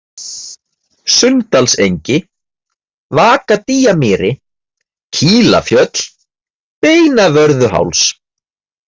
Sunndalsengi, Vakadýjamýri, Kílafjöll, Beinavörðuháls